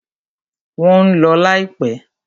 Wọ́n ń lọ láìpẹ́.